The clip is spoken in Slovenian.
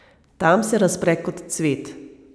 Tam se razpre kot cvet.